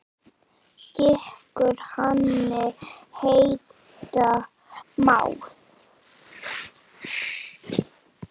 Gikkur hani heita má.